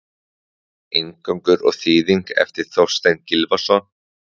Inngangur og þýðing eftir Þorstein Gylfason.